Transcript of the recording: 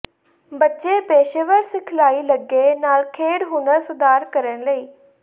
ਬੱਚੇ ਪੇਸ਼ੇਵਰ ਸਿਖਲਾਈ ਲੱਗੇ ਨਾਲ ਖੇਡ ਹੁਨਰ ਸੁਧਾਰ ਕਰਨ ਲਈ